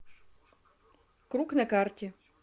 круг на карте